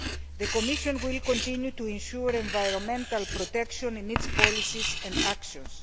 The Commission will continue to ensure environmental protection in its policies and actions.